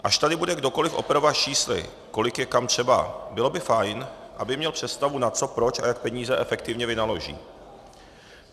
Až tady bude kdokoliv operovat čísly, kolik je kam třeba, bylo by fajn, aby měl představu na co, proč a jak peníze efektivně vynaloží.